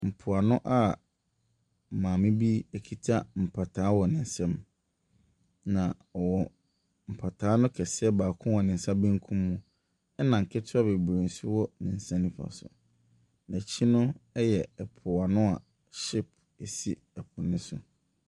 Mpoano a maame bi kita mpataa wɔ ne nsam, na ɔwɔ mpataa no kɛseɛ baako wɔ ne nsa benkum mu, ɛna nketewa bebree nso wɔ ne nsa nifa so. N'akyi no yɛ mpoano a ship si po no so.